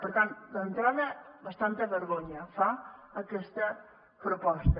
per tant d’entrada bastanta vergonya fa aquesta proposta